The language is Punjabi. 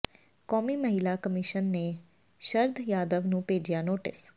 ਕੌਮੀ ਮਹਿਲਾ ਕਮਿਸ਼ਨ ਨੇ ਸ਼ਰਦ ਯਾਦਵ ਨੂੰ ਭੇਜਿਆ ਨੋਟਿਸ